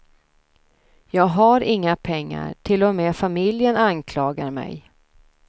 Jag har inga pengar, till och med familjen anklagar mig.